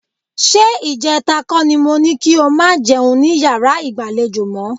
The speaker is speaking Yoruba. Ṣé ìjẹta kọ́ ni mo ní kí o máa jẹun ní yàrá ìgbàlejò mọ́?